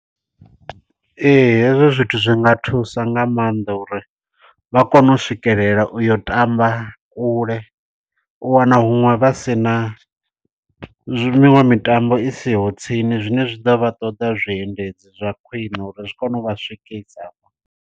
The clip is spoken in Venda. Ee, hezwo zwithu zwi nga thusa nga maanḓa uri vha kone u swikelela u yo tamba kule. U wana huṅwe vha si na miṅwe mitambo i siho tsini. Zwine zwi ḓo vha ṱoḓa zwiendedzi zwa khwiṋe uri zwi kone u vha swikisa afho.